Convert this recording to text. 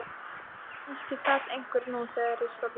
Kannski sat einhver nú þegar í stólnum.